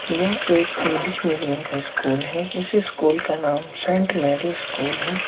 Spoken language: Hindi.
यह एक इंग्लिश मीडियम का स्कूल है इस स्कूल का नाम सेंट मैरी स्कूल है।